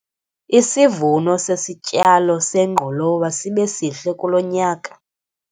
Isivuno sesityalo sengqolowa sibe sihle kulo nyaka.